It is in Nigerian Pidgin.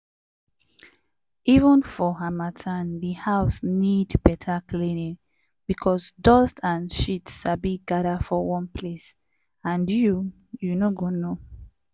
even for harmattan di house need better cleaning because dust and shit sabi gather for one place and you you no go know.